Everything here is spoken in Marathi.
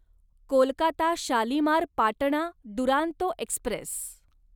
कोलकाता शालिमार पाटणा दुरांतो एक्स्प्रेस